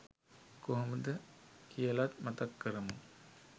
කොහොමද කියලත් මතක් කරමු?